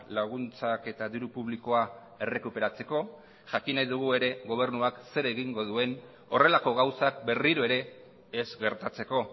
laguntzak eta diru publikoa errekuperatzeko jakin nahi dugu ere gobernuak zer egingo duen horrelako gauzak berriro ere ez gertatzeko